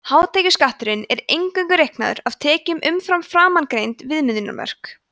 hátekjuskatturinn er eingöngu reiknaður af tekjum umfram framangreind viðmiðunarmörk